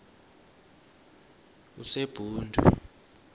usebhundu